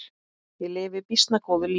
Ég lifi býsna góðu lífi!